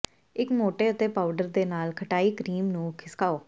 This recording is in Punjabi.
ਇੱਕ ਮੋਟੇ ਅਤੇ ਪਾਊਡਰ ਦੇ ਨਾਲ ਖਟਾਈ ਕਰੀਮ ਨੂੰ ਖਿਸਕਾਓ